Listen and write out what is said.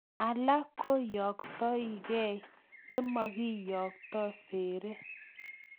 Alak koyooktokei yemakiyokto seree.